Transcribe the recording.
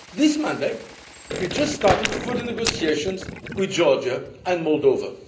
of them. This Monday we started further negotiations with Georgia and